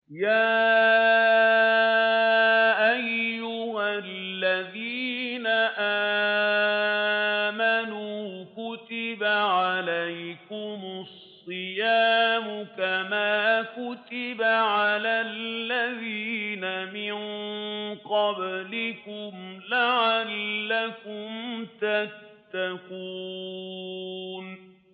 يَا أَيُّهَا الَّذِينَ آمَنُوا كُتِبَ عَلَيْكُمُ الصِّيَامُ كَمَا كُتِبَ عَلَى الَّذِينَ مِن قَبْلِكُمْ لَعَلَّكُمْ تَتَّقُونَ